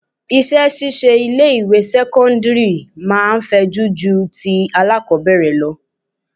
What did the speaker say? Iṣẹ́ ṣíṣe ilé ìwé sẹ́cọ́ndírì máa fẹjú ju ti alákọbẹ̀rẹ̀ lọ.